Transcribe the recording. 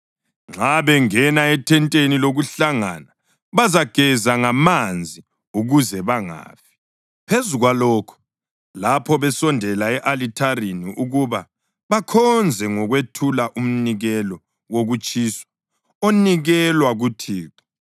Nxa bengena ethenteni lokuhlangana bazageza ngamanzi ukuze bangafi. Phezu kwalokho, lapho besondela e-alithareni ukuba bakhonze ngokwethula umnikelo wokutshiswa onikelwa kuThixo,